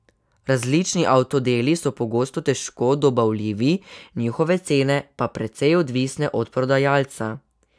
Različni avtodeli so pogosto težko dobavljivi, njihove cene pa precej odvisne od prodajalca.